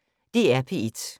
DR P1